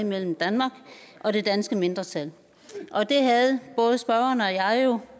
mellem danmark og det danske mindretal det havde både spørgeren og jeg jo